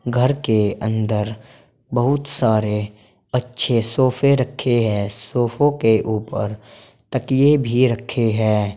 घर के अंदर बहुत सारे अच्छे सोफे रखे है सोफो के ऊपर तकिए भी रखे हैं।